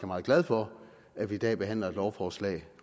meget glad for at vi i dag behandler lovforslag